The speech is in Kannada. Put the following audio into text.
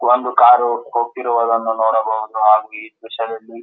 ಒಂದು ಕಾರು ಹೋಗ್ತಿರುವುದನ್ನು ನೋಡಬಹುದು ಹಾಗೆ ಈ ದ್ರಶ್ಯದಲ್ಲಿ --